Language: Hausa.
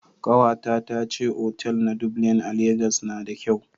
Kawata ta ce otal na Dublina a Legas na da kyau